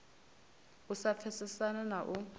u sa pfesesana na u